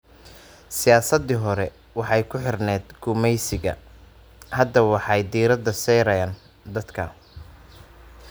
Siyaasaddii hore waxay ku xidhnayd gumaysiga. Hadda waxay diiradda saaraan dadka.